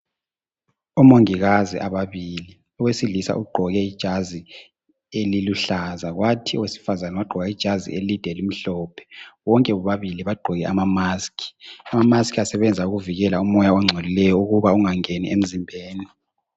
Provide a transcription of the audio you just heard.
Omongokazi ababili, owesilisa ugqoke ijazi eliluhlaza, kwathi owesifazane wagqoka ijazi elide elimhlophe. Bonke bobabili bagqoke amamasiki. Amamasiki asebenza ukuvikela umoya ongcolileyo ukuba ungangeni emzimbeni.